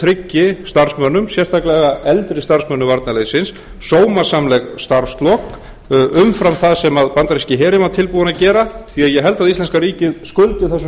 tryggi starfsmönnum sérstaklega eldri starfsmönnum varnarliðsins sómasamleg starfslok umfram það sem bandaríski herinn var tilbúinn að gera því ég held að íslenska ríkið skuldi þessum